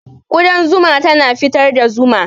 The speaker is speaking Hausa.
Ƙudan zuma tana fitar da zuma.